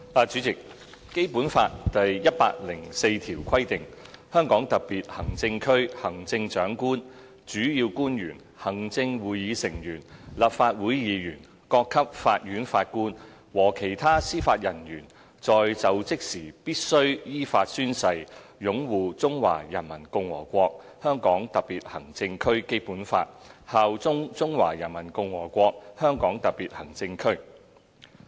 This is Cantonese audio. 主席，《基本法》第一百零四條規定︰"香港特別行政區行政長官、主要官員、行政會議成員、立法會議員、各級法院法官和其他司法人員在就職時必須依法宣誓擁護中華人民共和國香港特別行政區基本法，效忠中華人民共和國香港特別行政區。